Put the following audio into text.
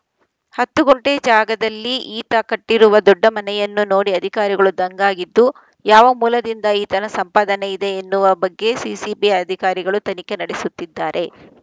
ಹತ್ತು ಗುಂಟೆ ಜಾಗದಲ್ಲಿ ಈತ ಕಟ್ಟಿರುವ ದೊಡ್ಡ ಮನೆಯನ್ನು ನೋಡಿ ಅಧಿಕಾರಿಗಳು ದಂಗಾಗಿದ್ದು ಯಾವ ಮೂಲದಿಂದ ಈತನ ಸಂಪಾದನೆ ಇದೆ ಎನ್ನುವ ಬಗ್ಗೆ ಸಿಸಿಬಿ ಅಧಿಕಾರಿಗಳು ತನಿಖೆ ನಡೆಸುತ್ತಿದ್ದಾರೆ